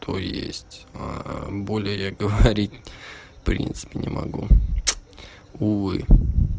то есть более говорить в принципе не могу увы